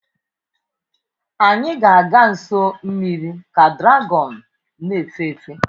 Anyị ga-aga nso mmiri ka dragọn na-efe efe.